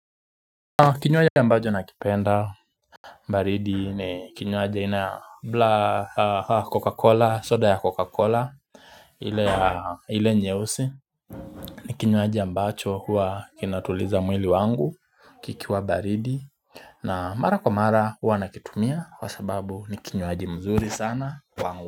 Kinywaji ambacho nakipenda baridi ni kinywaji aina ya Coca Cola soda ya Coca Cola ile nyeusi ni kinyuaji ambacho huwa kinatuliza mwili wangu kikiwa baridi na mara kwa mara huwa nakitumia kwa sababu ni kinywaji mzuri sana kwangu.